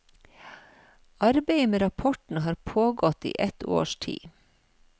Arbeidet med rapporten har pågått i et års tid.